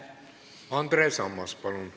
Andres Ammas, palun!